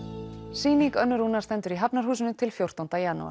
sýning Önnu Rúnar stendur í Hafnarhúsinu til fjórtánda janúar